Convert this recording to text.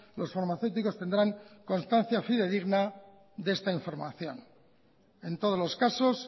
los farmacéuticos tendrán constancia fidedigna de esta información en todos los casos